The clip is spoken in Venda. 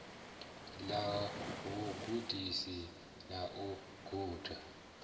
ḽa vhugudisi na u guda